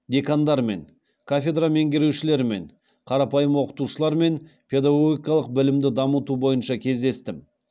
декандармен кафедра меңгерушілерімен қарапайым оқытушылармен педагогикалық білімді дамыту бойынша кездестім